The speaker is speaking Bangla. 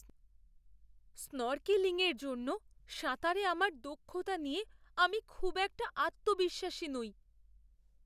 স্নর্কেলিংয়ের জন্য সাঁতারে আমার দক্ষতা নিয়ে আমি খুব একটা আত্মবিশ্বাসী নই।